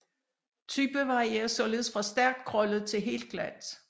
Type varierer ligeledes fra stærkt krøllet til helt glat